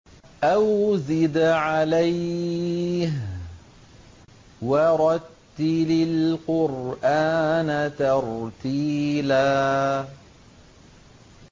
أَوْ زِدْ عَلَيْهِ وَرَتِّلِ الْقُرْآنَ تَرْتِيلًا